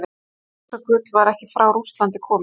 Rússagullið var ekki frá Rússlandi komið.